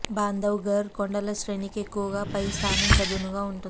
బాంధవ్ గర్ కొండల శ్రేణి కి ఎక్కువగా పై స్థానం చదునుగా ఉంటుంది